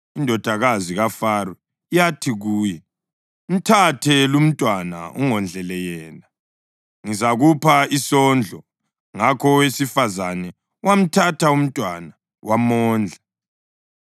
Indodakazi kaFaro yathi kuye, “Mthathe lumntwana ungondlele yena, ngizakupha isondlo.” Ngakho owesifazane wamthatha umntwana wamondla.